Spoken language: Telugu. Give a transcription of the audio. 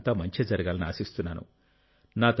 మీకు అంతా మంచే జరగాలని ఆశిస్తున్నాను